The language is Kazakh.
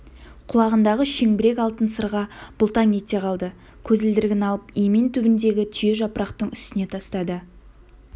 құлағындағы шеңбірек алтын сырға бұлтаң ете қалды көзілдірігін алып емен түбіндегі түйе жапырақтың үстіне тастады